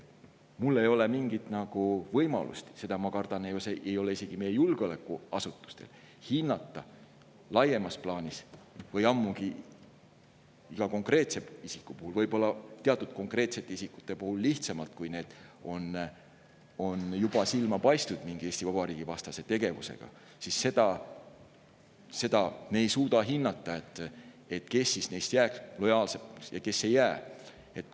Mul ei ole mingit võimalust, ma kardan, et isegi meie julgeolekuasutustel ei ole hinnata seda laiemas plaanis, ammugi aga iga konkreetse isiku puhul – võib-olla teatud isikute puhul on see lihtsam, kui nad on juba silma torganud Eesti Vabariigi vastase tegevusega –, kes neist jääb lojaalseks ja kes ei jää.